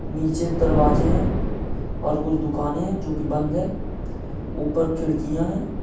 नीचे दरवाजे है और कुछ दुकाने है जो की बंद हैं उपर खिड़किया हैं।